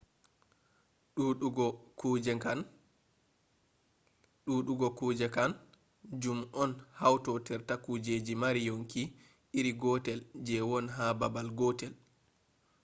duudugo kuje kan jum on hautorde kujeji mari yonki iri gotel je won ha babal gotel